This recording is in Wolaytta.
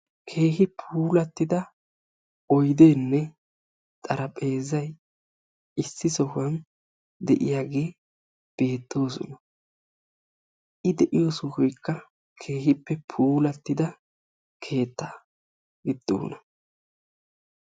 Keehi puulatida oydenne xarapheezay issi sohuwan de'iyaagee beettoosona, eti de'iyo sohoykka keehippe puulatidda keettaa giddona.